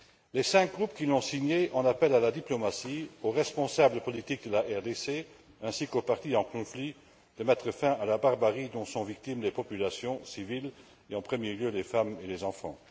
Les cinq groupes qui l'ont signée en appellent à la diplomatie, aux responsables politiques de la RDC, ainsi qu'aux parties en conflit, pour mettre fin à la barbarie dont sont victimes les populations civiles et, en premier lieu, les femmes et les enfants.